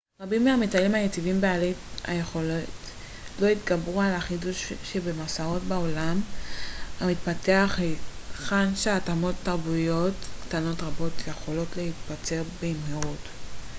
רבים מהמטיילים היציבים ובעלי היכולת לא התגברו על החידוש שבמסעות בעולם המתפתח היכן שהתאמות תרבותיות קטנות רבות יכולות להצטבר במהירות